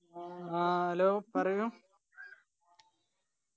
ആ hello പറയൂ